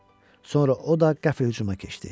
Sonra o da qəfil hücuma keçdi.